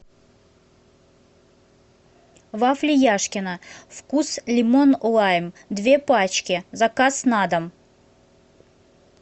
вафли яшкино вкус лимон лайм две пачки заказ на дом